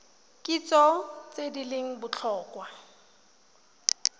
kitso tse di leng botlhokwa